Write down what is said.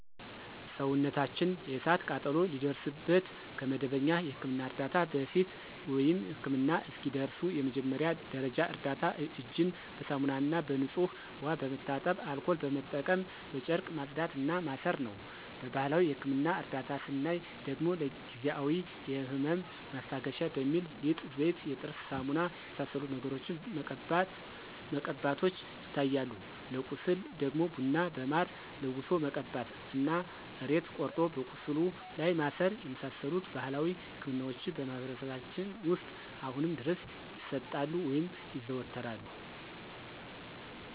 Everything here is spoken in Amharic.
ሰውነታችን የእሳት ቃጠሎ ሲደርስበት ከመደበኛ የሕክምና ዕርዳታ በፊት፣ ወይም ህክምና እስኪደርሱ የመጀመሪያ ደረጃ እርዳታ እጅን በሳሙናና በንጹህ ውሃ በመታጠብ አልኮል በመጠቀም በጨርቅ ማጽዳት እና ማሰር ነው። በባህላዊ የህክምና እርዳታ ስናይ ደግሞ ጊዜአዊ የህመም ማስታገሻ በሚል ሊጥ፣ ዘይት፣ የጥርስ ሳሙና የመሳሰሉትን ነገሮችን መቀባቶች ይታያሉ። ለቁስል ደግሞ ቡና በማር ለውሶ መቀባት እና ሬት ቆርጦ ቁስሉ ላይ ማሰር የመሳሰሉት ባህላዊ ህክምናዎች በማህበረሰባችን ውስጥ አሁንም ድረስ ይሰጣሉ (ይዘወተራሉ)።